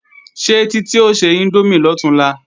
Ṣé Títí o se índómì lọ̀túnla?